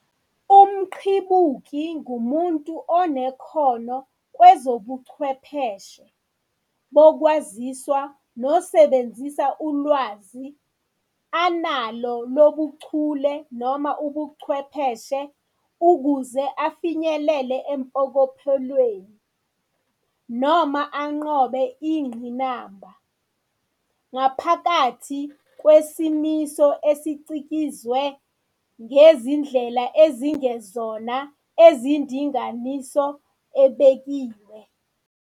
UmQhibuki ngumuntu onekhono kwezobuchwepheshe bokwaziswa nosebenzisa ulwazi analo lobuchule ukuze afinyelele empokophelweni noma anqobe ingqinamba, ngaphakathi kwesimiso esicikizwe ngezindlela ezingezona ezindinganiso ebekiwe.